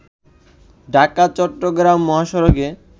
ঢাকা- চট্রগ্রাম মহাসড়কে